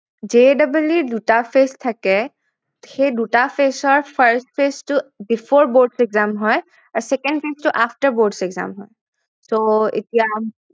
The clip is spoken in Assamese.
JEE ৰ দুটা phase থাকে সেই দুটা phase ৰ first phase টো before boards exam হয় আৰু second phase টো after boards exam হয় এতিয়া